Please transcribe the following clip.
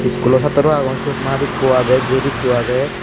schoolo chatra agon syot maat ikko agey gate ikko agey.